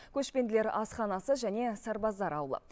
көшпенділер асханасы және сарбаздар ауылы